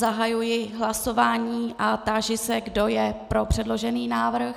Zahajuji hlasování a táži se, kdo je pro předložený návrh.